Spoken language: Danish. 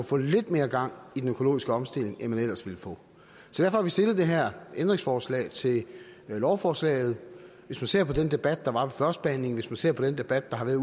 få lidt mere gang i den økologiske omstilling end man ellers ville få derfor har vi stillet det her ændringsforslag til lovforslaget hvis man ser på den debat der var ved førstebehandlingen hvis man ser på den debat der har været